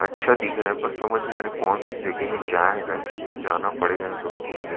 अच्छा दिख रहा है पर समझ नहीं आ रहा कौन सी जगह है क्या है करके पर जाना पड़ेगा यहाँ कभी घूमने--